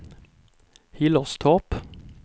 Hillerstorp